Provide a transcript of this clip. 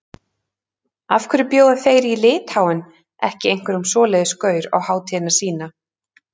Af hverju bjóða þeir í Litháen ekki einhverjum svoleiðis gaur á hátíðina sína?